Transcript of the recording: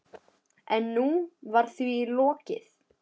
En nú var því lokið.